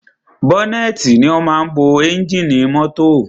Bọ́nẹ́tì ni o máa ń bo ẹ́ngìnì mọ́tọ̀.